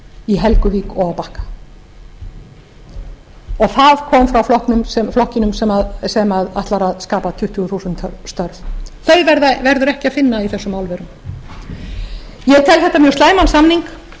í helguvík og á bakka það kom frá flokknum sem ætlar að skapa tuttugu þúsund störf þau verður ekki að finna í þessum álverum ég tel þetta mjög slæman samning eins og